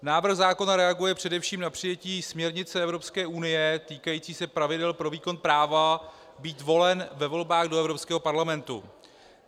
Návrh zákona reaguje především na přijetí směrnice Evropské unie týkající se pravidel pro výkon práva být volen ve volbách do Evropského parlamentu.